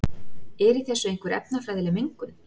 Er í þessu einhver efnafræðileg mengun?